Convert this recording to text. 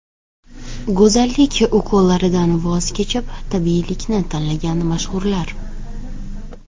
Go‘zallik ukollaridan voz kechib tabiiylikni tanlagan mashhurlar.